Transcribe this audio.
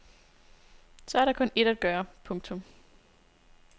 Så er der kun ét at gøre. punktum